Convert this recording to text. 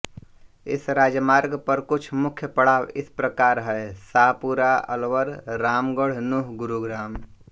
इस राजमार्ग पर कुछ मुख्य पड़ाव इस प्रकार हैं शाहपुरा अलवर रामगढ़ नूँह गुरुग्राम